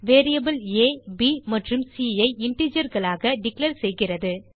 variable aப் மற்றும் C ஐ integerகளாக டிக்ளேர் செய்கிறது